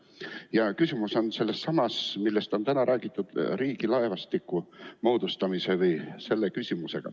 Mu küsimus on sellelsamal teemal, millest on täna räägitud: riigi laevastiku moodustamine.